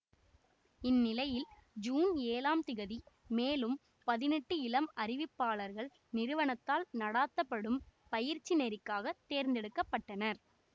இந்நிலையில் ஜூன் ஏழாம் திகதி மேலும் பதினெட்டு இளம் அறிவிப்பாளர்கள் நிறுவனத்தால் நடாத்த படும் பயிற்சி நெறிக்காக தேர்ந்தெடுக்க பட்டனர்